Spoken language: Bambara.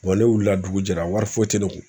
ne wilila dugu jɛra wari foyi foyi tɛ ne kun.